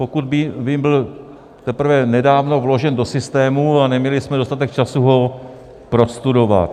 Pokud vím, byl teprve nedávno vložen do systému a neměli jsme dostatek času ho prostudovat.